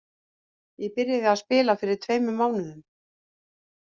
Ég byrjaði að spila fyrir tveimur mánuðum.